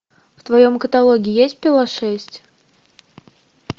в твоем каталоге есть пила шесть